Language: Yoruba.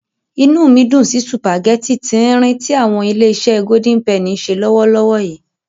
Inú mi dùn sí sùpàgẹ́tì tí-ín-rìn tí àwọn Ilé-iṣé Golden Penny ń ṣe lọ́wọ́lọ́wọ́ yìí.